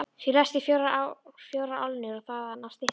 Flestir þetta fjórar álnir og þaðan af styttri.